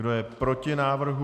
Kdo je proti návrhu?